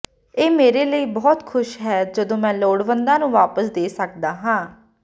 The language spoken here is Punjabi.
ਇਹ ਮੇਰੇ ਲਈ ਬਹੁਤ ਖੁਸ਼ ਹੈ ਜਦੋਂ ਮੈਂ ਲੋੜਵੰਦਾਂ ਨੂੰ ਵਾਪਸ ਦੇ ਸਕਦਾ ਹਾਂ